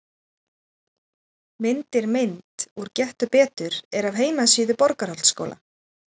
Myndir Mynd úr Gettu betur er af heimasíðu Borgarholtsskóla.